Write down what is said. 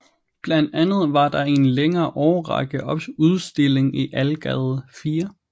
Blandt andet var der i en længere årrække udstilling i Algade 4